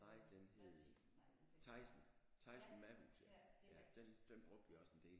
Nej den hed Thaisen Thaisen Ma'hus ja den den brugte vi også en del